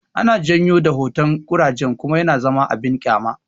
Ana janyo da hotan koraje kuma yana zama abin kyama